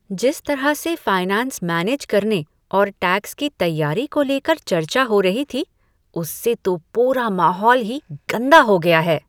जिस तरह से फाइनेंस मैनेज करने और टैक्स की तैयारी को लेकर चर्चा हो रही थी, उससे तो पूरा माहौल ही गंदा हो गया है।